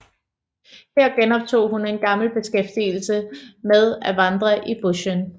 Her genoptog hun en gammel beskæftigelse med at vandre i bushen